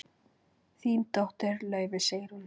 Þín dóttir, Laufey Sigrún.